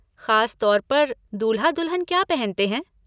ख़ास तौर पर दूल्हा दुल्हन क्या पहनते हैं?